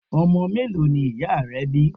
Ọmọ mélòó ni ìyá rẹ bí.